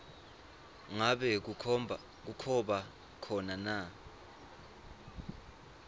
ngabe kuba khona